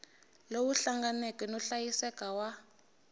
lowu hlanganeke no hlayiseka wa